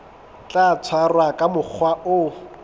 tla tshwarwa ka mokgwa o